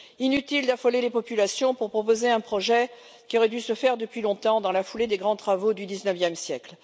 Inutile d'affoler les populations pour proposer un projet qui aurait dû se faire depuis longtemps, dans la foulée des grands travaux du XIXe siècle.